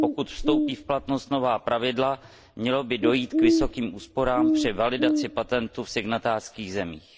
Pokud vstoupí v platnost nová pravidla, mělo by dojít k vysokým úsporám při validaci patentu v signatářských zemích.